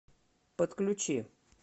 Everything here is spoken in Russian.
подключи